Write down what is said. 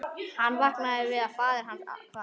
Hann vaknaði við að faðir hans kvað